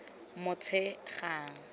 motshegang